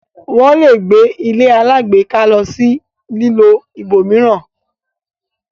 wón lẹ gbé ilé alágbèéká ló sì lilọ ibòmíràn